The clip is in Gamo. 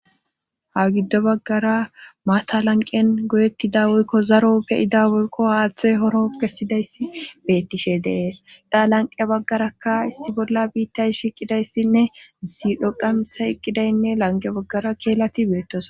ha giddo baggara maata lanqen goyettida woykko zaro ke7ida woykko haaththey horo kesidayssi beettishe dees dha lanqe baggaraka issi bolla biittay shiqidayssinne ziidho qamitha eqqidaynne lanqe baggara keelati beettosona